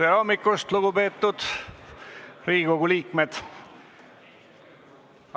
Tere hommikust, lugupeetud Riigikogu liikmed!